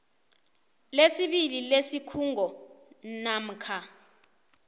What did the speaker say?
lesibili lesikhungo namkha